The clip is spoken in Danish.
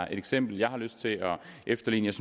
eksempel jeg har lyst til at efterligne